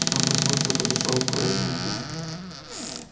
потом проснулся и подошёл к корыту напиться